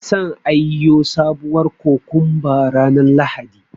San aiyo sabuwar kokomba ranar Lahadi.